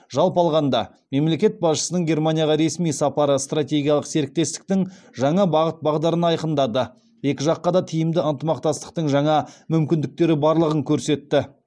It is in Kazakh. жалпы алғанда мемлекет басшысының германияға ресми сапары стратегиялық серіктестіктің жаңа бағыт бағдарын айқындады екі жаққа да тиімді ынтымақтастың жаңа мүмкіндіктері барлығын көрсетті